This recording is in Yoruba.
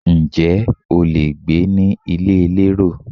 Ǹjẹ́ o lè gbé ní ilé elérò?